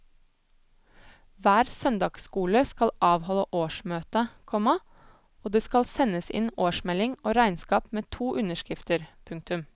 Hver søndagsskole skal avholde årsmøte, komma og det skal sendes inn årsmelding og regnskap med to underskrifter. punktum